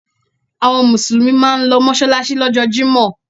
Àwọn Mùsùlùmí máa ń lọ mọ́ṣáláṣí lọ́jọ́ jímọ̀.